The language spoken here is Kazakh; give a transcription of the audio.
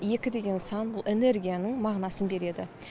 екі деген сан бұл энергияның мағынасын береді